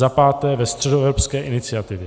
za páté ve Středoevropské iniciativě.